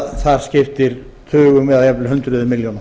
það skiptir tugum eða jafnvel hundruðum milljóna